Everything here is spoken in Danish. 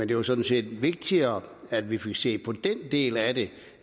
jo sådan set vigtigere at vi får set på den del af det